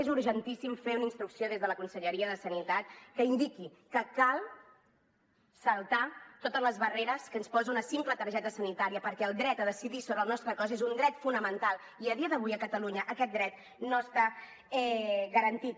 és urgentíssim fer una instrucció des de la conselleria de sanitat que indiqui que cal saltar totes les barreres que ens posa una simple targeta sanitària perquè el dret a decidir sobre el nostre cos és un dret fonamental i a dia d’avui a catalunya aquest dret no està garantit